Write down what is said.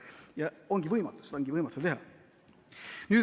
Ja seda ongi võimatu teha.